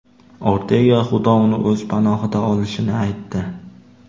Ortega Xudo uni o‘z panohiga olishini aytdi.